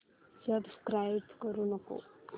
subscribe करू नको